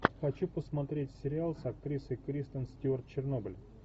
хочу посмотреть сериал с актрисой кристен стюарт чернобыль